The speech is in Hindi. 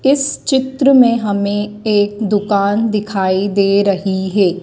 इस चित्र में हमें एक दुकान दिखाई दे रही है।